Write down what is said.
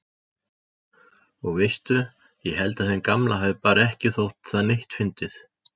Og veistu. ég held að þeim gamla hafi bara ekki þótt það neitt fyndið.